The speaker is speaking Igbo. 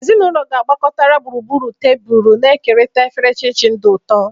Ezinụlọ gbakọtara gburugburu tebụl, na-ekerịta efere chin-chin di ụtọ.